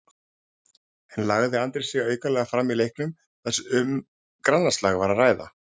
En lagði Andri sig aukalega fram í leiknum þar sem um grannaslag var að ræða?